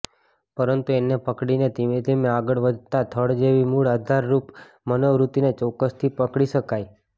પરંતુ એને પકડીને ધીમે ધીમે આગળ વધતાં થડ જેવી મૂળ આધારરુપ મનોવૃત્તિને ચોક્કસથી પકડી શકાય